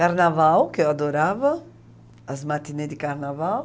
Carnaval, que eu adorava, as matinês de carnaval.